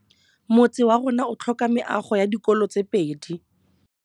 Motse warona o tlhoka meago ya dikolô tse pedi.